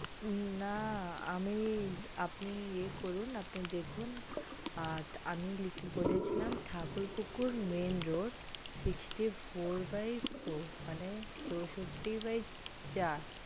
না আমি আপনি ইয়ে করুন দেখুন আ আমি বলেছিলাম Thakurpukur main road sixty four bye four মানে চোষট্টি bye চার